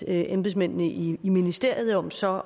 embedsmændene i ministeriet om så